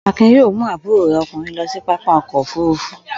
Akin yóò mú àbúrò rẹ̀ ọkùnrin lọ sí pápá ọkọ̀-òfurufú.